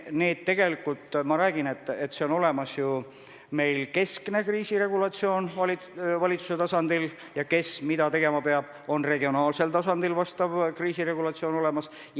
Ma kinnitan, et meil on olemas keskne kriisiregulatsioon valitsuse tasandil, ja kes mida tegema peab, see regulatsioon on ka regionaalsel tasandil olemas.